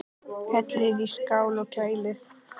Hellið í skál og kælið.